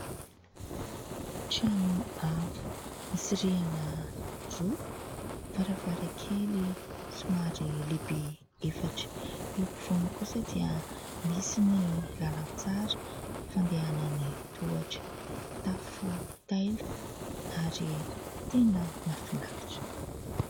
Trano avo misy rihana roa, varavarankely somary lehibe efatra. Eo afovoany kosa dia misy ny lalan-tsara fandehanan'ny tohatra, tafo taila ary tena mahafinaritra.